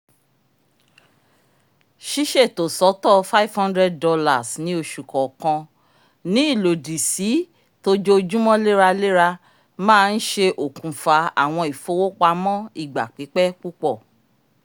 ṣiṣeto sọtọ $ five hundred ní oṣù kọọkan ní ilòdi si t'ojoojumọ leralera ma nṣẹ́ òkùnfà awọn ifowopamọ igba pipẹ pupọ